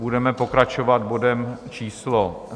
Budeme pokračovat bodem číslo